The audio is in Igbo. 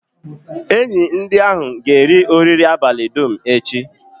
Enyi ahụ ga-eri oriri abalị dum echi.